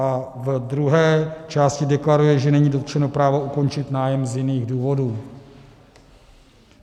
A v druhé části deklaruje, že není dotčeno právo ukončit nájem z jiných důvodů.